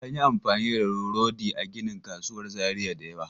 An yi amfani da rodi a ginin kasuwar Zariya da yawa.